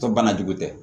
Tɔ banajugu tɛ